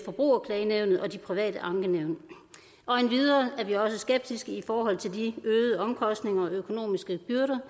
forbrugerklagenævnet og de private ankenævn endvidere er vi også skeptiske i forhold til de øgede omkostninger og økonomiske byrder